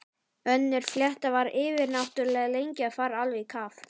Önnur fléttan var yfirnáttúrlega lengi að fara alveg í kaf.